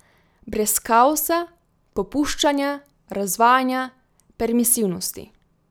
Brez kaosa, popuščanja, razvajanja, permisivnosti.